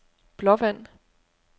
Blåvand